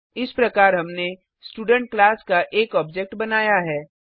इस प्रकार हमने स्टूडेंट क्लास का एक ऑब्जेक्ट बनाया है